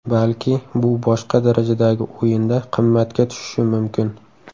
Balki bu boshqa darajadagi o‘yinda qimmatga tushishi mumkin.